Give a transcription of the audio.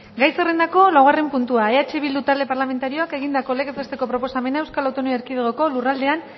gai zerrendako laugarren puntua eh bildu talde parlamentarioak egindako legez besteko proposamena eaeko lurraldean